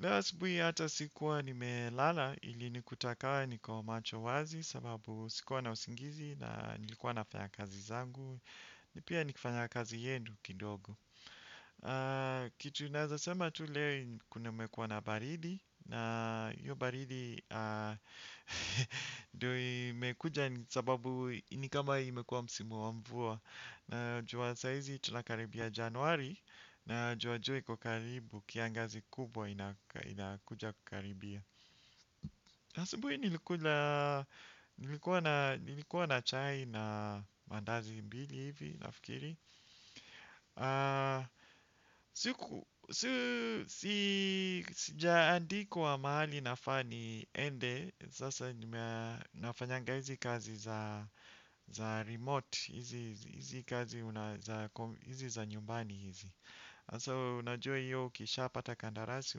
Lewa sibui hata sikuwa nimelala ilinikuta kama niko macho wazi sababu sikuwa na usingizi na nilikuwa nafanya kazi zangu. Ni pia nikifanya kazi yenu kidogo. Kitu naeza sema tu leo kuna umekuwa na baridi. Na hiyo baridi ndio imekuja sababu ni kama imekuwa msimu wa mvua. Najua saa hizi tunakaribia januari najua jua iko karibu kiangazi kubwa inakuja kukaribia asubuhi nilikuwa na chai na maandazi mbili hivi nafikiri sijaandikwa mahali nafa niende sasa nafanyanga hizi kazi za remote hizi kazi za nyumbani hizi. So, unajua hiyo ukisha pata kandarasi,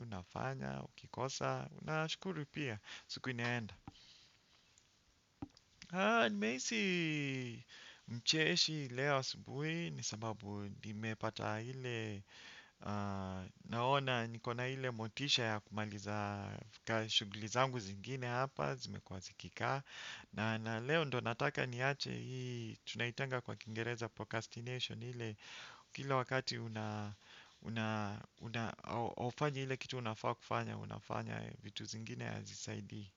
unafanya, ukikosa, unashukuru pia. Siku inaenda. Nimeisi mcheshi leo asubuhi, ni sababu nimepata hile, naona niko na hile motisha ya kumaliza shuguli zangu zingine hapa, zimekuwa zikikaa. Na leo ndo nataka niache hii tunaitanga kwa kingereza procrastination hile kila wakati aufanya hile kitu unafaa kufanya unafanya vitu zingine hazisaidii.